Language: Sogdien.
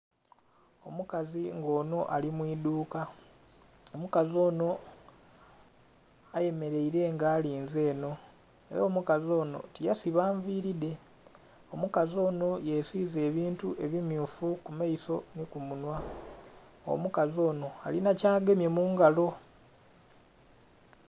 Omukazi nga onho ali mwiiduuka, omukazi onho ayemerere nga alinze enho era omukazi onho tiyasiba nviiri dhe, omukazi onho yesize ebintu ebimmyufu kumaiso nhi kumunhwa, omukazi onho ali nhi kyagemye mungalo.